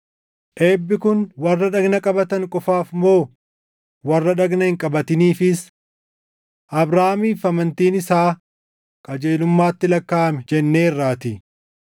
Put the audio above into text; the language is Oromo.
Eebbi kun warra dhagna qabatan qofaaf moo warra dhagna hin qabatiniifis? Abrahaamiif amantiin isaa qajeelummaatti lakkaaʼame jenneerraatii.